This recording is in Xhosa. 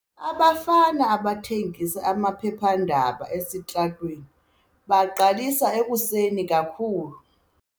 Abafana abathengisa amaphephandaba esitratweni baqalisa ekuseni kakhulu.